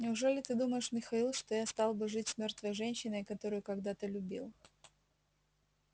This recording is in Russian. неужели ты думаешь михаил что я стал бы жить с мёртвой женщиной которую когда-то любил